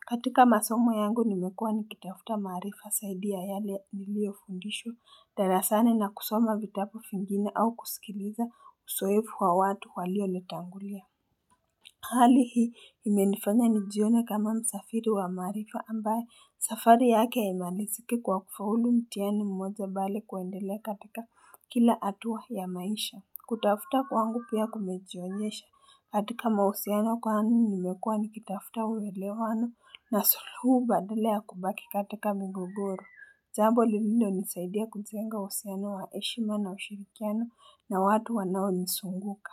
katika masomo yangu nimekua nikitafuta maarifa saidi ya yale niliofundishwa darasani na kusoma vitabu fingine au kusikiliza usoefu wa watu walionitangulia Hali hii imenifanya nijione kama msafiri wa maarifa ambaye safari yake ya haimaliziki kwa kufaulu mtihani mmoja bali kuendele katika kila hatua ya maisha. Kutafuta kwangu pia kumejionyesha, katika mahusiano kwani nimekua nikitafuta uwelewano na suluhu badala ya kubaki katika migogoro. Jambo lililonisaidia kujenga uhusiano wa heshima na ushirikiano na watu wanaonisunguka.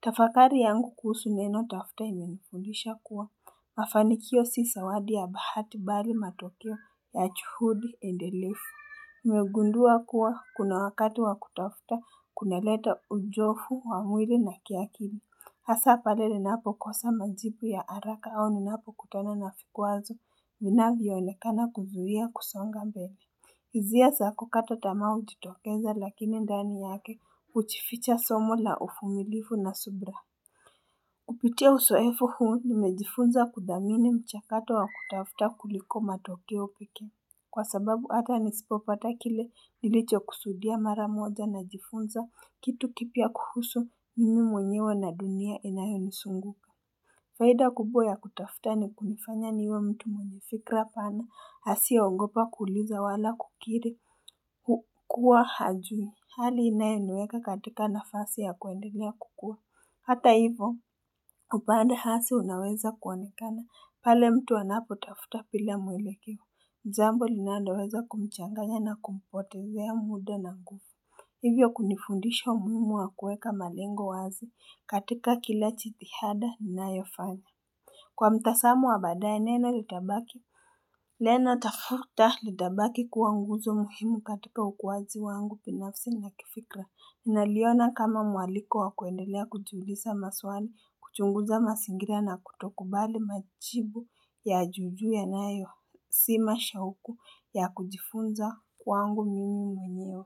Tafakari yangu kuhusu neno tafuta imenifundisha kuwa. Mafanikio si sawadi ya bahati bari matokeo ya chuhudi endelefu. Nimegundua kuwa kuna wakati wa kutafuta kunaleta ujofu wa mwiri na kiakili. Hasa pale ninapokosa majipu ya haraka au ninapokutana na fikwazo vinavyoonekana kuzuia kusonga mbele. Hizia za kukata tamaa hujitokeza lakini ndani yake huchificha somo la ufumilifu na subra Kupitia usoefu huu nimejifunza kudhamini mchakato wa kutafuta kuliko matokeo piki Kwa sababu hata nisipopata kile nilichokusudia mara moja najifunza kitu kipya kuhusu mimi mwenyewe na dunia inayonisunguka faida kubwa ya kutafuta ni kunifanya niwe mtu mwenye fikra pana asiyeogopa kuuliza wala kukiri hukua hajumi hali inayoniweka katika nafasi ya kuendelea kukua hata hivyo upande hasi unaweza kuonekana pale mtu anapotafuta bila mwelekeo jambo linaloweza kumchanganya na kumpotezea mda na ku Hivyo kunifundisha umuhimu wa kueka malengo wazi katika kila chitihada inayofanya kwa mtasamo wa baadaye neno litabaki neno tafuta litabaki kuwa nguzo muhimu katika ukwazi wangu binafsi na kifikra naliona kama mwaliko wa kuendelea kujiulisa maswali kuchunguza masingira na kutokubali majibu ya juu juu yanayo sima shauku ya kujifunza wangu mimi mwenyewe.